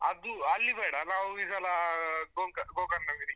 ಅದು ಅಲ್ಲಿ ಬೇಡ ನಾವ್ ಈ ಸಲ ಗೋಕ~ ರ್ಗೋಕರ್ಣ ಗಿರಿ,